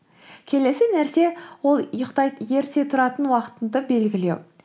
келесі нәрсе ол ерте тұратын уақытыңды белгілеу